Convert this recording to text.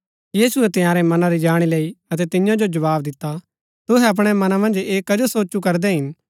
यीशुऐ तंयारै मनां री जाणी लैई अतै तियां जो जवाव दिता तूहै अपणै मना मन्ज ऐह कजो सोचु करदै हिन